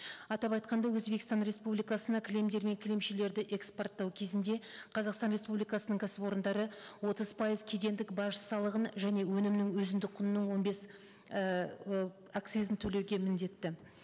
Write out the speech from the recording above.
атап айтқанда өзбекстан республикасына кілемдер мен кілемшелерді экспорттау кезінде қазақстан республикасының кәсіпорындары отыз пайыз кедендік баж салығын және өнімнің өзіндік құнының он бес ііі акцизін төлеуге міндетті